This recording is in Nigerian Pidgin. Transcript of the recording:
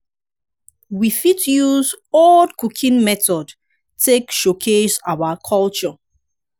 we fit use old cooking method take showcase our culture